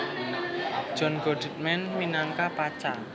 John Goodman minangka Pacha